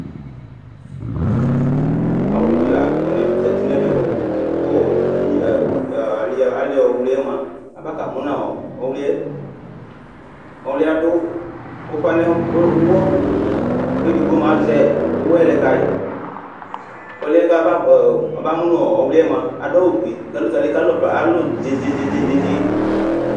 Awli dini lazati nʋ emɛ kʋ ali ɔwli yɛ mʋa abaka mʋnʋ ɔwliyɛ ɔwli yɛ adʋ ufa nʋ ʋwɔ kʋ edigbo azɛ ʋwɔɛ lɛkayi ɔlʋ yɛ yaba mʋnʋ ɔwli yɛ adʋ awʋfue kʋ ɛlʋtali kalʋ ka zi zi zizi